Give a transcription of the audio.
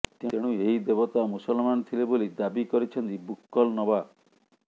ତେଣୁ ଏହି ଦେବତା ମୁସଲମାନ ଥିଲେ ବୋଲି ଦାବି କରିଛନ୍ତି ବୁକ୍କଲ ନବାବ